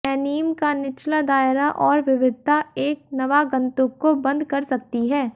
anime का निचला दायरा और विविधता एक नवागंतुक को बंद कर सकती है